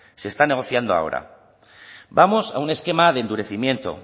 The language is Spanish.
se está negociando ahora vamos a un esquema de endurecimiento